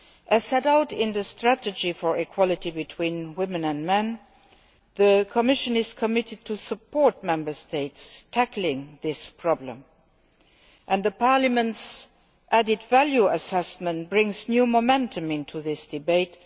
As set out in the strategy for equality between women and men, the Commission is committed to supporting Member States in tackling this problem, and Parliament's added value assessment brings new momentum to the debate.